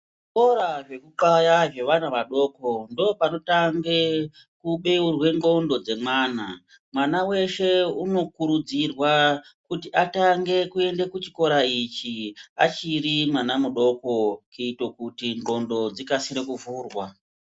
Zvekuti zvekunxaya zvevana vadoko ndopanotange kubeurwa ndxondo dzemwana. Mwana weshe unokurudzirwa kuti atange kuenda kuchikoro ichi achiri mwana mudoko kuito kuti ndxondo dzikase kuvhurwa.